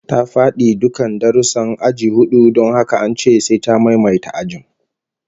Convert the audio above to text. Ta fadi dukkan darussan aji hudu don haka an ce sai ta maimaita ajin